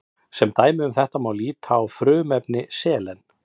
sem dæmi um þetta má líta á frumefni selen